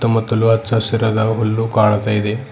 ಮತ್ತು ಅಲ್ಲು ಹಚ್ಚ ಹಸಿರಾದ ಹುಲ್ಲು ಕಾಣ್ತಾ ಇದೆ.